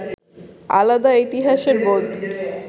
আলাদা ইতিহাসের বোধ